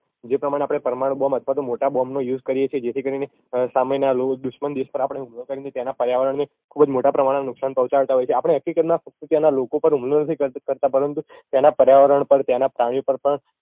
જે પ્રમાણે આપણે પરમાણું બોમ અથવા તો મોટા બોમનો use કરીએ છીએ જેથી કરીને સામેનાં દુશ્મન દેશ પર આપણે હુમલો કરીને તેના પર્યાવરણને ખુબ જ મોટા પ્રમાણમાં નુકશાન પોહ્ચાડતા હોય એ છીએ આપણે હકીકતમાં ત્યાંના લોકો પર હુમલો નથી કરતાં પરંતુ તેનાં પર્યાવરણ પર ત્યાંના પાણી પર પણ